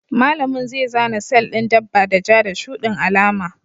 Malami zai zana sel ɗin dabba da ja da shuɗin alama.